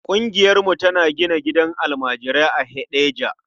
Ƙungiyarmu tana gina gidan almajirai a Heɗejia.